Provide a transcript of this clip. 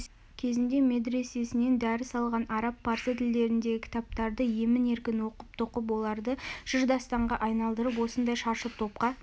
кезінде медресесінен дәріс алған араб парсы тілдеріндегі кітаптарды емін-еркін оқып-тоқып оларды жыр-дастанға айналдырып осындай шаршы топқа